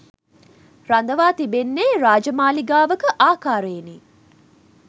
රඳවා තිබෙන්නේ රාජමාළිගාවක ආකාරයෙනි.